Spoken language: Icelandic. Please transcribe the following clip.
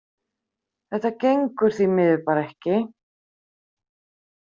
Þetta gengur því miður bara ekki.